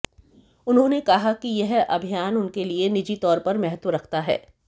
उन्होंने कहा कि यह अभियान उनके लिए निजी तौर पर महत्व रखता है